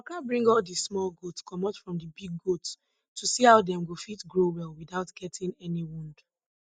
i waka bring all di small goat comot from di big goats to see how dem go fit grow well without getting any wound